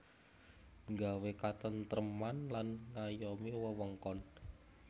Nggawé katêntrêman lan ngayomi wewengkon